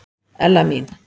Ella mín.